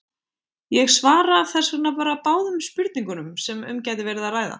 Ég svara þess vegna bara báðum spurningunum sem um gæti verið að ræða.